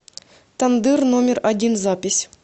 тандыр номер один запись